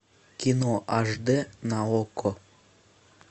кино аш дэ на окко